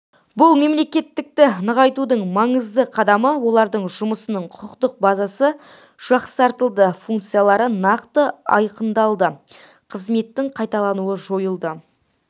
бұл мемлекеттікті нығайтудың маңызды қадамы олардың жұмысының құқықтық базасы жақсартылды функциялары нақты айқындалды қызметтің қайталануы жойылды